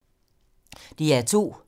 DR2